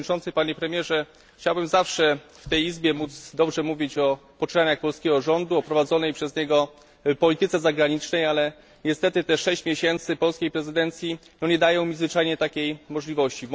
Panie Premierze! Chciałbym zawsze w tej Izbie móc dobrze mówić o poczynaniach polskiego rządu, o prowadzonej przez niego polityce zagranicznej, ale niestety te sześć miesięcy polskiej prezydencji nie daje mi zwyczajnie takiej możliwości.